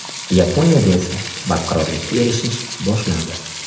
Yaponiyada esa barqarorlikka erishish boshlandi.